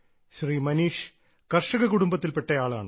ശ്രീ മനീഷ് കർഷക കുടുംബത്തിൽപ്പെട്ട ആളാണ്